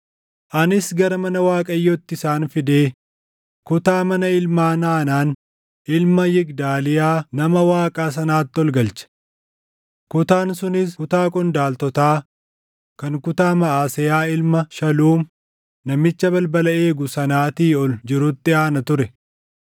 Anis gara mana Waaqayyootti isaan fidee kutaa mana ilmaan Haanaan ilma Yigdaaliyaa nama Waaqaa sanaatti ol galche. Kutaan sunis kutaa qondaaltotaa kan kutaa Maʼaseyaa ilma Shaluum namicha balbala eegu sanaatii ol jirutti aana ture.